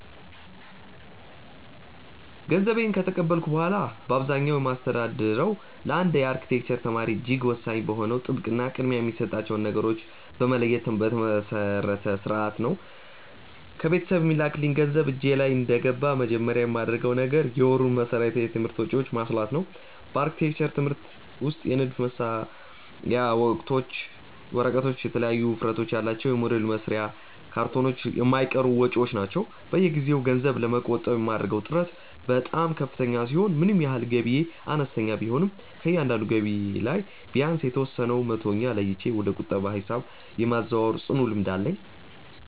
ገንዘቤን ከተቀበልኩ በኋላ በአብዛኛው የማስተዳድረው ለአንድ የአርክቴክቸር ተማሪ እጅግ ወሳኝ በሆነው ጥብቅ እና ቅድሚያ የሚሰጣቸውን ነገሮች በመለየት ላይ በተመሰረተ ሥርዓት ነው። ከቤተሰብ የሚላክልኝ ገንዘብ እጄ ላይ እንደገባ መጀመሪያ የማደርገው ነገር የወሩን መሠረታዊ የትምህርት ወጪዎቼን ማስላት ነው። በአርክቴክቸር ትምህርት ውስጥ የንድፍ መሳያ ወረቀቶች፣ የተለያዩ ውፍረት ያላቸው የሞዴል መስሪያ ካርቶኖች የማይቀሩ ወጪዎች ናቸው። በየጊዜው ገንዘብ ለመቆጠብ የማደርገው ጥረት በጣም ከፍተኛ ሲሆን ምንም ያህል ገቢዬ አነስተኛ ቢሆንም ከእያንዳንዱ ገቢ ላይ ቢያንስ የተወሰነውን መቶኛ ለይቼ ወደ ቁጠባ ሂሳቤ የማዛወር ጽኑ ልምድ አለኝ።